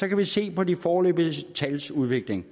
kan vi se på de foreløbige tals udvikling